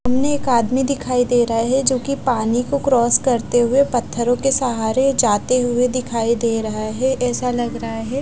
सामने एक आदमी दिखाई दे रहा है जो की पानी क्रॉस करते हुए पत्थरों के सहारे जाते हुए दिखाई दे रहा है एसा लग रहा है--